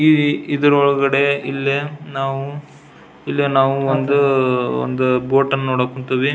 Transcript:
ಈ ಇದರ ಒಳಗಡೆ ಇಲ್ಲೇ ನಾವು ಇಲ್ಲಿ ನಾವು ಒಂದು ಒಂದು ಬೋಟ್ ಅನ್ನ ನೋಡಕ್ ಹೊಂಟಿವಿ.